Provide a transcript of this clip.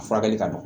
Furakɛli ka nɔgɔn